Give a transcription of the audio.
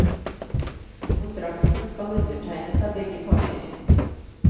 Kontrakten skal undertegnes av begge parter.